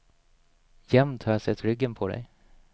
Jämt har jag sett ryggen på dig.